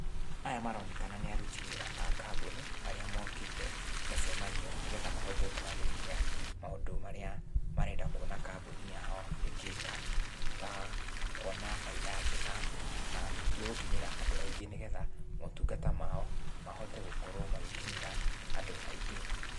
Aya maronekana nĩ aruti wĩra a kambũni, arĩa mokĩte mũcemanio nĩgetha mahote kwarĩrĩria maũndũ marĩa marenda kuona kambũni yao ĩngĩka, ta kuona bainda njega, na ningĩ gũkinyĩra andũ aingĩ nĩgetha, motungata mao, mahote gũkorwo magĩkinyĩra andũ aingĩ.